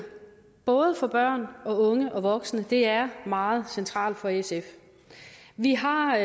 både for børn og unge og voksne er meget centralt for sf vi har